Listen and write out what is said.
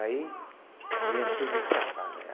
Aí, viemos tudinho para cá, né?